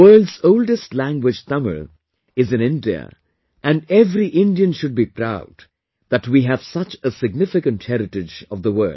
The world's oldest language Tamil is in India and every Indian should be proud that we have such a significant heritage of the world